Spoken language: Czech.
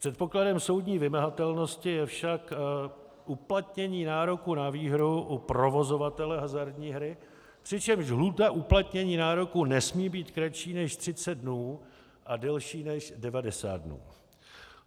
Předpokladem soudní vymahatelnosti je však uplatnění nároku na výhru u provozovatele hazardní hry, přičemž lhůta uplatnění nároku nesmí být kratší než 30 dnů a delší než 90 dnů.